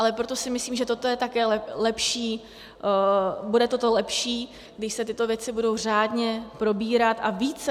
Ale proto si myslím, že toto je také lepší, bude toto lepší, když se tyto věci budou řádně probírat a více.